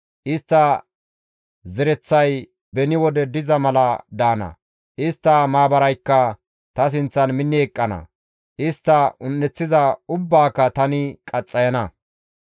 Istta zereththay beni wode diza mala daana; istta maabaraykka ta sinththan minni eqqana; istta un7eththiza ubbaaka tani qaxxayana.